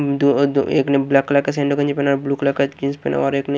दो और दो एक ने ब्लैक कलर का पहना है ब्लू कलर का जींस पहना और एक ने--